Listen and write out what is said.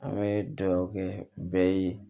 An bɛ dugawu kɛ bɛɛ ye